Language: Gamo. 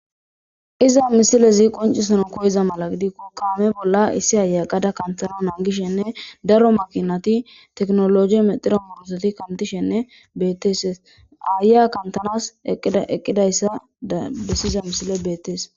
Iza misilezi qoncisanon koyiza mala gidi kukame bolla issi hayaqada kanthana naangishenne daro makinati teknologi mexiro mursati kantishenne beteeses aaya kantanas eqqidayssa dabbesiza misile beetees.